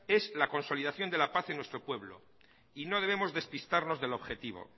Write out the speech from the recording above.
es la consolidación de la paz en nuestro pueblo y no debemos despistarnos del objetivo